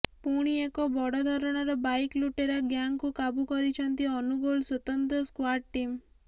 ପୁଣି ଏକ ବଡ଼ ଧରଣର ବାଇକ ଲୁଟେରା ଗ୍ୟାଙ୍ଗକୁ କାବୁ କରିଛନ୍ତି ଅନୁଗୋଳ ସ୍ୱତନ୍ତ୍ର ସ୍କ୍ୱାର୍ଡ ଟିମ